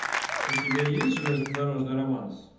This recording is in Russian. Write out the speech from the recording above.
у тебя есть железнодорожный романс